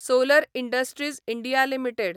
solar industries India limited